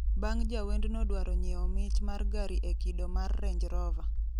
bang' jawendno dwaro nyiewo mich mar gari e kido mar range rover